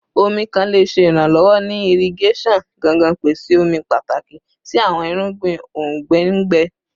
Omi kan le ṣe iranlọwọ ni irigeson gangan, pese omi pataki si awọn irugbin ongbẹ ngbẹ